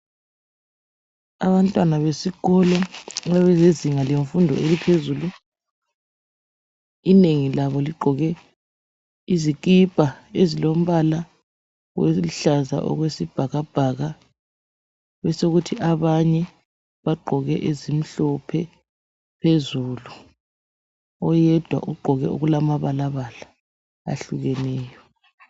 abantwana besikolo abezinga lemfundo eliphezulu inengi labo ligqoke izikipa ezilombala oluhlaza okwesibhakabhaka besokuthi abanye bagqoke ezimhlophe phezulu oyedwa ugqoke okulamabalabala ahlukeneyo